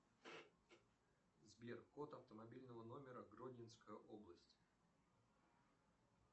сбер код автомобильного номера гродненская область